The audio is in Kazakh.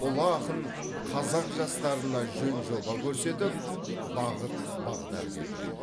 ұлы ақын қазақ жастарына жөн жоба көрсетіп бағыт бағдар берген